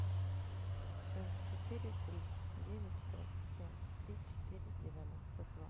шесть четыре три девять пять семь три четыре девяносто два